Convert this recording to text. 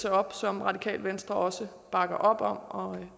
op som radikale venstre også bakker op om og